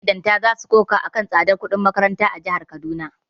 Magidanta za su koka a kan tsadar kudin makaranta a jihar Kaduna.